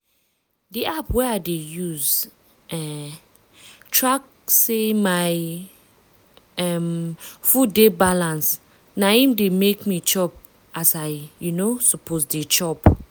di app wey i dey use um track say my um food dey balanced na im dey make me chop as i um suppose dey chop.